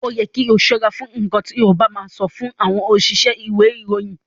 O yẹ kí o ṣọ́ra fún nkán ti o ba ma sọ si àwọn òṣìṣẹ́ ìwé ìròyìn.